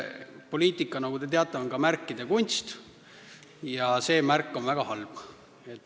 Poliitika, nagu te teate, on ka märkide kunst ja see märk on väga halb.